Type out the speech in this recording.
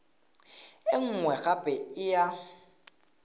e nngwe gape e ya